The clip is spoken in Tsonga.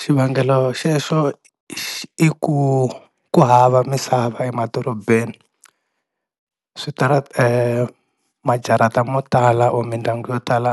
Xivangelo xexo i ku ku hava misava emadorobeni, switarata majarata mo tala or mindyangu yo tala